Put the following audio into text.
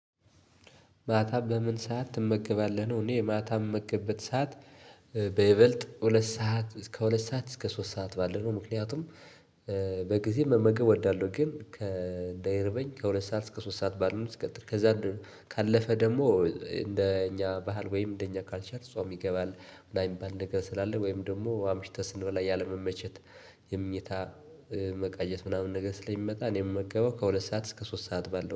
ማታ በምን ሰዓት ትመገባለህ ነው? እኔ ማታ የምመግበት ሰዓት። በይበልጥ ሁለት ሰዓት እስከ ከሁለት ሰዓት እስከ ሶስት ሰዓት ባለው ነው። ምክንያቱም በጊዜ መመገብ እወዳለሁ። ግን እንዳይርበኝ ከሁለት ሰዓት እስከ ሶስት ሰዓት ባሉ እስከ ከዛ ካለፈ ደግሞ እንደ እኛ ባህል ወይም እንደ እኛ ካልቸር ጾም ይገባል። ላይም ባልነገር ስላለ ወይም ደግሞ አምሽተስ በላይ ያለመመቸት ሁኔታ መቀየስ። ስለሚመጣ እኔ የምመገበው ከሁለት እስከ ሶስት ሰዓት ባለው ነው